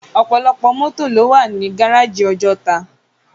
Òpòlòpò mòtó ló wá ni gáráji Òjòtá